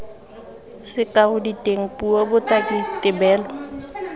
sekao diteng puo botaki tebelo